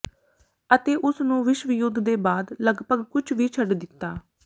ਅਤੇ ਉਸ ਨੂੰ ਵਿਸ਼ਵ ਯੁੱਧ ਦੇ ਬਾਅਦ ਲਗਭਗ ਕੁਝ ਵੀ ਛੱਡ ਦਿੱਤਾ